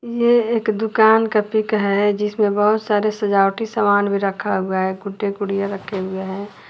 ये एक दुकान का पिक है जिसमें बहुत सारे सजावटी सामान भी रखा हुआ है गुड्डे गुड़िया रखे हुए हैं।